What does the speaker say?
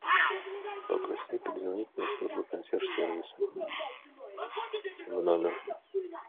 попроси перезвонить мне службу консьерж сервиса в номер